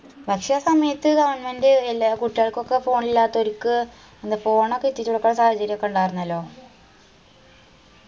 പക്ഷാസമയത്ത് goverment എല്ലാ കുട്ടികൾക്കൊക്കെ phone ഇല്ലാത്തവരിക്ക് എന്താ phone ഒക്കെ എത്തിക്കണ സാഹചര്യയൊക്കെ ഇണ്ടായിർന്നല്ലോ